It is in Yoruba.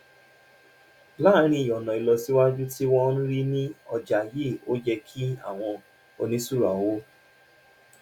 láàárín ọ̀nà ìlọsíwájú tí wọ́n ń rí ní ọjà yìí ó yẹ kí àwọn oníṣura owó